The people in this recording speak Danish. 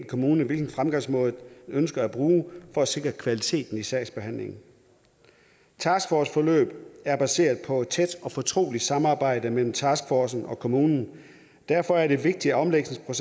kommune hvilken fremgangsmåde man ønsker at bruge for at sikre kvaliteten i sagsbehandlingen et taskforceforløb er baseret på et tæt og fortroligt samarbejde mellem taskforce og kommune derfor er det vigtigt at omlægningen